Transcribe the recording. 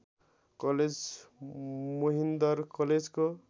college Mohinder कलेजको